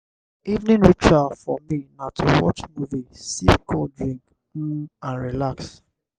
after work um i go do small exercise to comot stress before um i sleep well. um